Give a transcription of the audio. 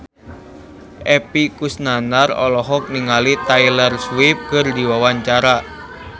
Epy Kusnandar olohok ningali Taylor Swift keur diwawancara